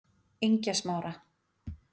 Engjasmára